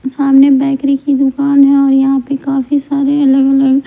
सामने बेकरी की दुकान है और यहां पे काफी सारे अलग-अलग--